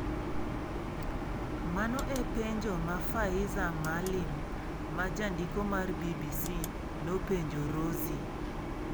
Mano e penjo ma Faiza Maalim ma jandiko mar BBC, nopenjo Rozie.